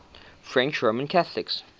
french roman catholics